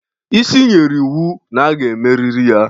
isi nyere na iwu na a ga-emerịrị ya